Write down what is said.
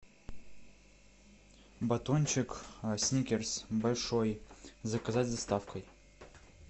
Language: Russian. батончик сникерс большой заказать с доставкой